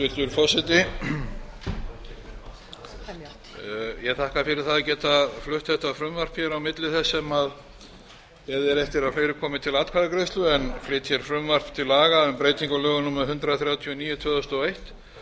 hæstvirtur forseti ég þakka fyrir það að geta flutt þetta frumvarp hér á milli þess sem beðið er eftir að fleiri komi til atkvæðagreiðslu en flyt hér frumvarp til lag aum breytingu á lögum númer hundrað þrjátíu og níu tvö þúsund og eitt